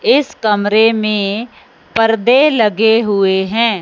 इस कमरे में परदे लगे हुएं हैं।